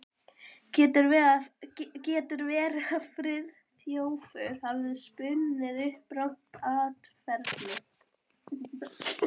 Getur verið að Friðþjófur hafi spunnið upp rangt atferli?